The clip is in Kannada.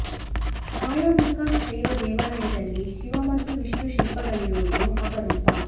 ಕಾಳಾ ಮುಖ ಶೈವ ದೇವಾಲಯದಲ್ಲಿ ಶಿವ ಮತ್ತು ವಿಷ್ಣು ಶಿಲ್ಪಗಳಿರುವುದು ಅಪರೂಪ